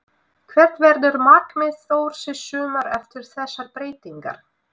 Hvert verður markmið Þórs í sumar eftir þessar breytingar?